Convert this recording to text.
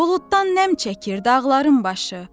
Buluddan nəm çəkir dağların başı.